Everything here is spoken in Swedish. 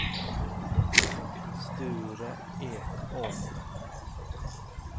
Sture Ekholm